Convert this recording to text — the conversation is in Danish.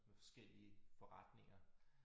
Med forskellige forretninger